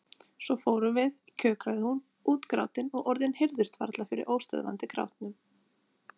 Svo fórum við, kjökraði hún, útgrátin og orðin heyrðust varla fyrir óstöðvandi grátinum.